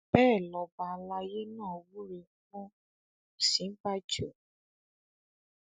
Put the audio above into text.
bẹ́ẹ̀ lọba àlàyé náà wúrẹ fún òsínbàjò